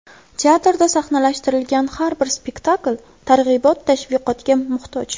Teatrda sahnalashtirilgan har bir spektakl targ‘ibot-tashviqotga muhtoj.